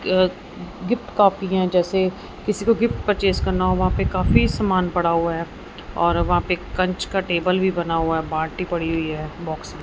यह गिफ्ट काफी हैं जैसे किसी को गिफ्ट परचेस करना हो वहाँ पे काफी समान पड़ा हुआ है और वहाँ पे कंच का टेबल भी बना हुआ है बाल्टी पड़ी हुई हैं बॉक्स --